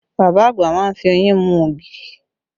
Bàbá àgbà má ń fi oyin mú ògì